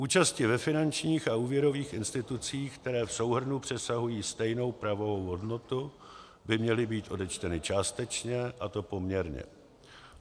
Účasti ve finančních a úvěrových institucích, které v souhrnu přesahují stejnou pravou hodnotu, by měly být odečteny částečně, a to poměrně.